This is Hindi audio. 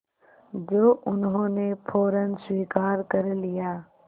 जो उन्होंने फ़ौरन स्वीकार कर लिया